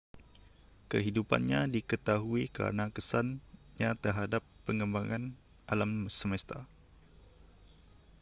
kehidupannnya diketahui kerana kesannya terhadap pengembangan alam semesta